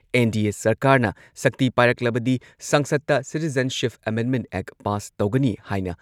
NDA ꯁꯔꯀꯥꯔꯅ ꯁꯛꯇꯤ ꯄꯥꯏꯔꯛꯂꯕꯗꯤ ꯁꯪꯁꯗꯇ ꯁꯤꯇꯤꯖꯦꯟꯁꯤꯞ ꯑꯦꯃꯦꯟꯗꯃꯦꯟꯠ ꯑꯦꯛ ꯄꯥꯁ ꯇꯧꯒꯅꯤ ꯍꯥꯏꯅ